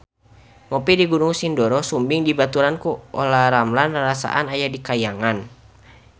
Ngopi di Gunung Sindoro Sumbing dibaturan ku Olla Ramlan rarasaan aya di kahyangan